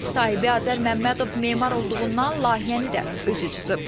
Ev sahibi Azər Məmmədov memar olduğundan layihəni də özü cızıb.